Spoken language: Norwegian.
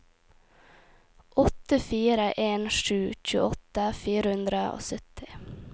åtte fire en sju tjueåtte fire hundre og sytti